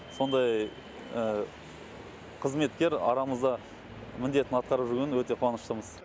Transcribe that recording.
сондай қызметкер арамызда міндетін атқарып жүргеніне өте қуаныштымыз